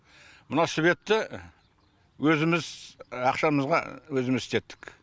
мына светті өзіміз ақшамызға өзіміз істеттік